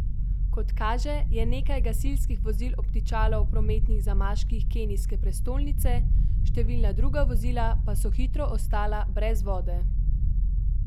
Kot kaže, je nekaj gasilskih vozil obtičalo v prometnih zamaških kenijske prestolnice, številna druga vozila pa so hitro ostala brez vode.